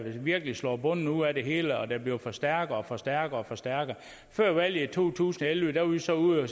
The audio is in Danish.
virkelig slår bunden ud af det hele og den bliver forstærket og forstærket og forstærket før valget i to tusind og elleve var vi så ude at